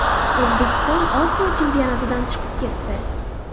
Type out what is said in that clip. O‘zbekiston Osiyo chempionatidan chiqib ketdi.